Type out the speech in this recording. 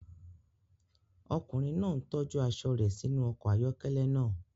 Ọkùnrin náà tọ́jú aṣọ rẹ̀ sínú ọkọ̀ ayọ́kẹ́lẹ́ náà.